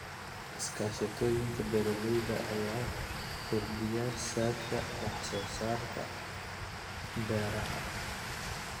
Iskaashatooyinka beeralayda ayaa kordhiya saadka wax soo saarka beeraha.